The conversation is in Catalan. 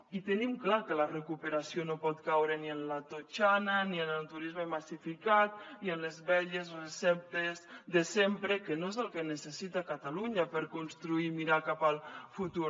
i tenim clar que la recuperació no pot caure ni en la totxana ni en el turisme massificat ni en les velles receptes de sempre que no és el que necessita catalunya per construir i mirar cap al futur